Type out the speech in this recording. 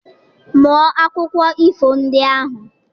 Mụọ akụkọ ifo ndị ahụ